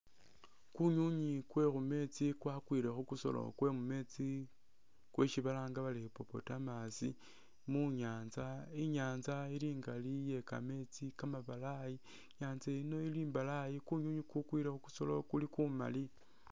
Kunyunyi kwekhumetsi kwakwile kukhusolo kwemumetsi kwesi balanga bari hippopotamus munyatsa inyantsa ili ingali iyekameetsi kamabalayi inyatsa yino ili imbalayi kunyunyi kukwile khukusolo kuli kumali.